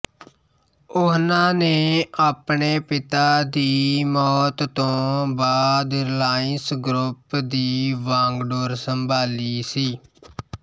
ਉਹਨਾਂ ਨੇ ਆਪਣੇ ਪਿਤਾ ਦੀ ਮੌਤ ਤੋਂ ਬਾਅਦ ਰਿਲਾਇੰਸ ਗਰੁੱਪ ਦੀ ਵਾਂਗਡੋਰ ਸੰਭਾਲੀ ਸੀ